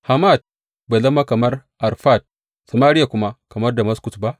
Hamat bai zama kamar Arfad Samariya kuma kamar Damaskus ba?